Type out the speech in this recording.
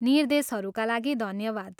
निर्देशहरूका लागि धन्यवाद!